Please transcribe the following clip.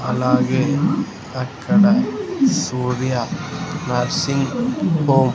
అలాగే అక్కడ Surya nursing home --